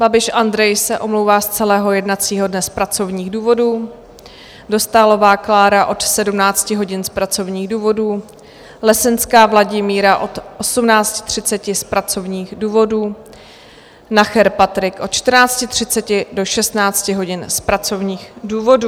Babiš Andrej se omlouvá z celého jednacího dne z pracovních důvodů, Dostálová Klára od 17 hodin z pracovních důvodů, Lesenská Vladimíra od 18.30 z pracovních důvodů, Nacher Patrik od 14.30 do 16 hodin z pracovních důvodů.